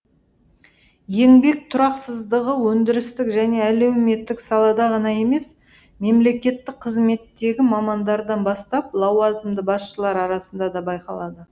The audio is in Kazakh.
еңбек тұрақсыздығы өндірістік және әлеуметтік салада ғана емес мемлекеттік қызметтегі мамандардан бастап лауазымды басшылар арасында да байқалады